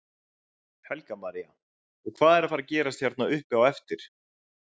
Helga María: Og hvað er að fara gerast hérna uppi á eftir?